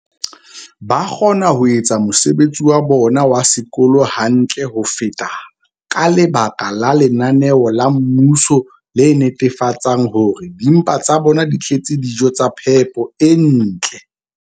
ba kgona ho etsa mosebetsi wa bona wa sekolo hantle ho feta ka lebaka la lenaneo la mmuso le netefatsang hore dimpa tsa bona di tletse dijo tsa phepo e ntle.